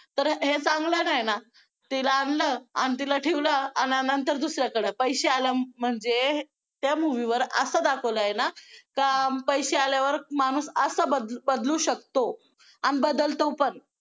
तर हे चांगलं नाही ना तिला आणलं तिला ठेवलं आणि नंतर दुसऱ्याकडं पैसे आलं म्हणजे त्या movie वर असं दाखवलंय ना का पैसे आल्यावर माणूस असा बदलू शकतो आणि बदलतो पण